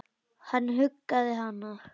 Hann huggaði hana.